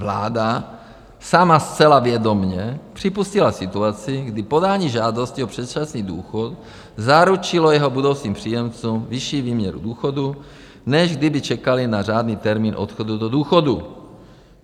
Vláda sama zcela vědomě připustila situaci, kdy podání žádosti o předčasný důchod zaručilo jeho budoucím příjemcům vyšší výměru důchodu, než kdyby čekali na řádný termín odchodu do důchodu.